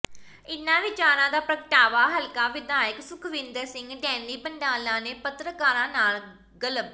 ਇਨ੍ਹਾਂ ਵਿਚਾਰਾਂ ਦਾ ਪ੍ਰਗਟਾਵਾ ਹਲਕਾ ਵਿਧਾਇਕ ਸੁਖਵਿੰਦਰ ਸਿੰਘ ਡੈਨੀ ਬੰਡਾਲਾ ਨੇ ਪੱਤਰਕਾਰਾਂ ਨਾਲ ਗੱਲਬ